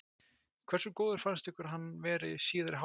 Hversu góður fannst ykkur hann vera í síðari hálfleik?